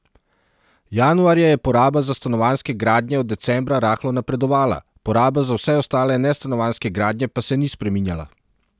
Januarja je poraba za stanovanjske gradnje od decembra rahlo napredovala, poraba za vse ostale nestanovanjske gradnje pa se ni spreminjala.